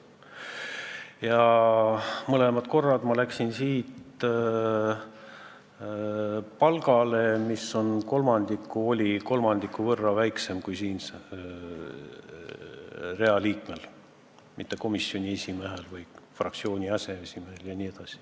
Ja mõlemad korrad ma läksin siit palgale, mis oli kolmandiku võrra väiksem kui Riigikogu realiikmel, mitte näiteks komisjoni esimehel või fraktsiooni aseesimehel.